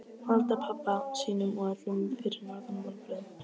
Valda pabba sínum og öllum fyrir norðan vonbrigðum.